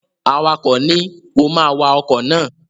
Awakọ̀ ni, "o ma wa ọkọ̀ náà!"